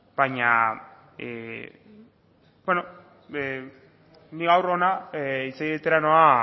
baina beno ni gaur hona hitz egitera noa